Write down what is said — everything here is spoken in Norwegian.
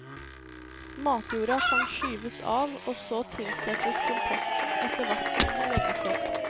Matjorda kan skyves av og så tilsettes komposten etter hvert som den legges opp.